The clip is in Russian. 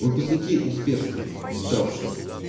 выпускники успешно сдавшие